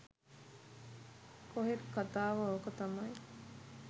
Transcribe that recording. කොහෙත් කථාව ඕක තමයි.